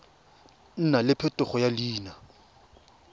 nna le phetogo ya leina